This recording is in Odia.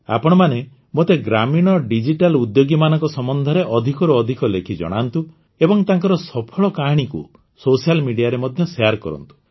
ଆପଣମାନେ ମୋତେ ଗ୍ରାମୀଣ ଡିଜିଟାଲ ଉଦ୍ୟୋଗୀମାନଙ୍କ ସମ୍ବନ୍ଧରେ ଅଧିକରୁ ଅଧିକ ଲେଖି ଜଣାନ୍ତୁ ଏବଂ ତାଙ୍କର ସଫଳ କାହାଣୀକୁ ସୋସିଆଲ ମିଡିଆ ରେ ମଧ୍ୟ ସେୟାର କରନ୍ତୁ